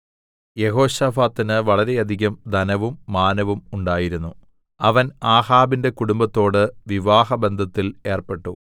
യെഹോശാഫാത്തിന് വളരെയധികം ധനവും മാനവും ഉണ്ടായിരുന്നു അവൻ ആഹാബിന്റെ കുടുംബത്തോട് വിവാഹബന്ധത്തിൽ ഏർപ്പെട്ടു